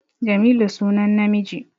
Jamilu sunan namiji